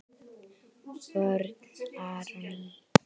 Vörn: Aron Ý.